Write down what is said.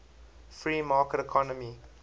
free market economy